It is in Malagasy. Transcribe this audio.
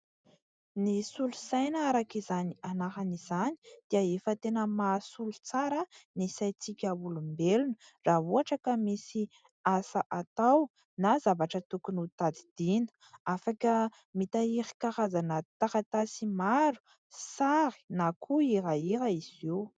Ny solosaina, araka izany anarana izany, dia efa tena mahasolo tsara ny sain-tsika olombelona raha ohatra ka misy asa atao na zavatra tokony ho tadidiana. Afaka mitahiry karazana taratasy maro, sary na koa hirahira izy io.